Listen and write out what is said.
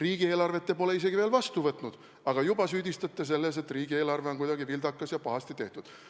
Riigieelarvet te pole isegi vastu võtnud, aga juba süüdistate selles, et riigieelarve on kuidagi vildakas ja pahasti tehtud.